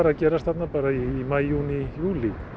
að gerast þarna í maí júní júlí